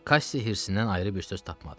Kassi hirsindən ayrı bir söz tapmadı.